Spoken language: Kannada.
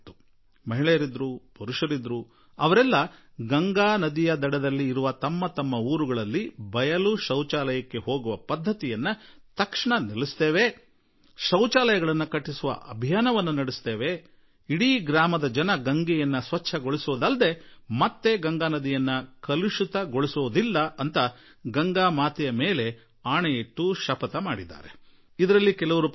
ಅವರು ಬಂದು ಗಂಗೆಯನ್ನು ಸಾಕ್ಷಿಯಾಗಿ ಇಟ್ಟುಕೊಂಡು ತಮ್ಮ ಹಳ್ಳಿಗಳಲ್ಲಿ ಬಯಲು ಬಹಿರ್ದೆಸೆ ಪರಂಪರೆಯನ್ನು ತಕ್ಷಣವೇ ನಿಲ್ಲಿಸಲು ಆಗತ್ಯ ಕ್ರಮ ಕೈಗೊಳ್ಳುವ ಶೌಚಾಲಯ ನಿರ್ಮಿಸುವ ಆಂದೋಲನಕ್ಕೆ ಚಾಲನೆ ಕೊಡುವ ತಮ್ಮ ಹಳ್ಳಿ ಯಾವುದೇ ಕಾರಣಕ್ಕೂ ಗಂಗಾ ನದಿಯನ್ನು ಗಲೀಜು ಮಾಡದಂತೆ ನೋಡಿಕೊಳ್ಳುವ ಪ್ರತಿಜ್ಞೆ ಕೈಗೊಂಡರು